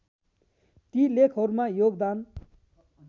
ती लेखहरूमा योगदान